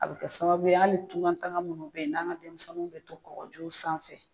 A be kɛ sababu ye hali tunka taga munnu be yen n'an ka denmisɛnninw be to kɔgɔjiw sanfɛ.